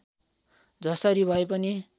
जसरी भए पनि